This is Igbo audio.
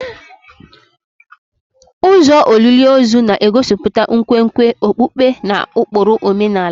Ụzọ olili ozu na-egosipụta nkwenkwe okpukpe na ụkpụrụ omenala.